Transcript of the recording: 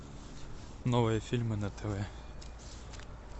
новые фильмы на тв